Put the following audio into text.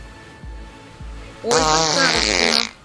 ольга старостина